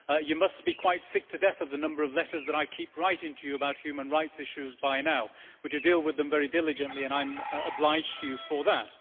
She must be quite sick to death of the number of letters that I keep writing to her about human rights issues by now, but she deals with them very diligently and I am obliged to her for that.